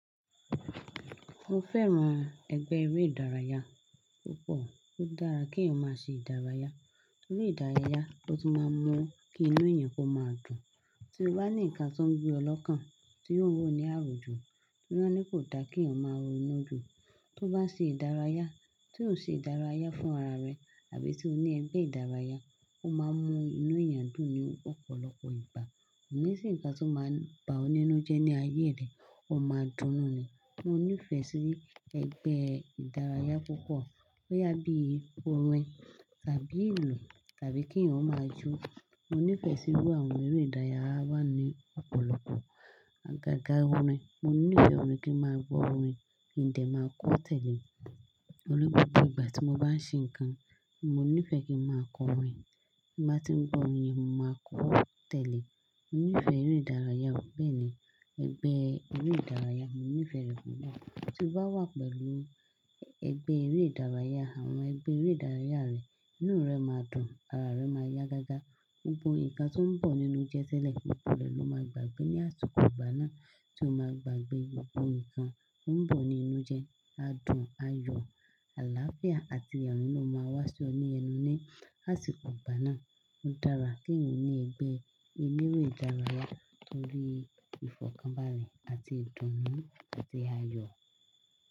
Mo fẹ́ran ẹgbẹ́ eré ìdárayá púpọ̀. Ó dára kí ẹ̀yin máa ṣe ìdárayá, torí ìdárayá ló ti máa ń mú kí inú ẹ̀yàn kó máa dùn. Tí o bá ní nǹkan tó ń gbé ọ lọ́kàn, tí o ń rò ní àròjú, tí won ńi kò dá kí èyàn ma rò inú jù, tó bá ṣe ìdárayá, tí ò ṣe ìdárayá fún ara rẹ àbí tí o ní ẹgbẹ́ ìdárayá, ó máa mú inú ẹ̀yàn dùn ní ọ̀pọ̀lọpọ̀ ìgbà. Kò ní sì ǹkan tó máa ń ba ọ nínú jẹ́ ní ayé rẹ, ó máa dunnú ni. Mo nífẹ̀ẹ́ sí ẹgbẹ́ ìdárayá púpọ̀, bó yá bí i orin tàbí ilù tàbí kí ẹ̀yin ó máa jó. Mo nífẹ̀ẹ́ sí irú àwọn eré ìdárayá wá ni ọ̀pọ̀lọpọ̀. À gágá orin, mo nífẹ̀ẹ́ orin kí ń máa gbọ́ orin kí n dẹ̀ máa kọ tẹ̀lé e, torí gbogbo ìgbà tí mo bá ń ṣe nǹkan, mo nífẹ̀ẹ́ kí ń máa kọ orin. Bí mo bá tí ń gbọ́ orin, mo máa kọ ó tẹ̀lé. Mo nífẹ̀ẹ́ eré ìdárayá, bẹ́ẹ̀ ni ẹgbẹ́ eré ìdárayá, mo nífẹ̀ẹ́ rẹ̀ púpọ̀. Tí o bá wà pẹ̀lú ẹgbẹ́ eré ìdárayá, àwọn ẹgbẹ́ eré ìdárayá rẹ, inú rẹ máa dùn, ara rẹ máa yá gágá, gbogbo ǹkan tó ń bọ̀ nínú jẹ́ tele gbogbo rẹ lọ máa gbàgbé ní àsìkò ìgbà náà tí o máa gbàgbé gbogbo ǹkan tó ń bọ̀ ní inú jẹ, á dùn, á yọ̀, àlàáfíà àti ẹ̀rín ló máa wá sí ọ ní ẹnu ní àsìkò ìgbà náà. Ó dára kí ẹ̀yàn ní ẹgbẹ́ eré ìdárayá torí ìfọ̀kànbalẹ̀ àti ìdùnnú àti aayọ̀.